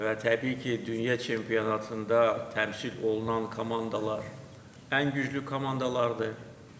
Və təbii ki, dünya çempionatında təmsil olunan komandalar ən güclü komandalardır.